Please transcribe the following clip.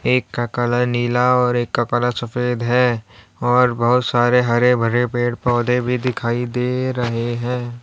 एक का कलर नीला और एक का कलर सफेद है और बहुत सारे हरे- भरे पेड़-पौधे भी दिखाई दे रहे हैं।